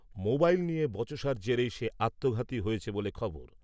Mobile নিয়ে বচসার জেরেই সে আত্মঘাতী হয়েছে বলে খবর।